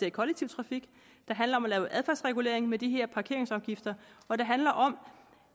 i kollektiv trafik det handler om at lave adfærdsregulering med de her parkeringsafgifter og det handler om